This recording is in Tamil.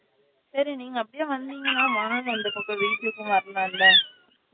சரி நீங்க அப்டியே வந்திங்கனா வாங்க இந்த பக்கம் வீட்டுக்கு வரலாம்ல